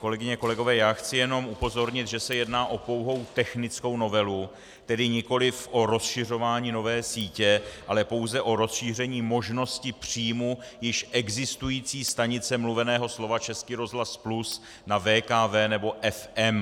Kolegyně, kolegové, já chci jenom upozornit, že se jedná o pouhou technickou novelu, tedy nikoliv o rozšiřování nové sítě, ale pouze o rozšíření možností příjmu již existující stanice mluveného slova Český rozhlas Plus na VKV nebo FM.